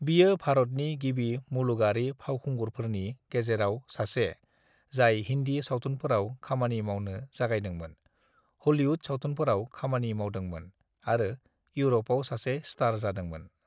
"बियो भरतनि गिबि मुलुगारि फावखुंगुरफोरनि गेजेराव सासे जाय हिन्दी सावथुनफोराव खामानि मावनो जागायदोंमोन, हलिवुद सावथुनफोराव खामानि मावदोंमोन आरो इउरपआव सासे स्टार जादोंमोन।"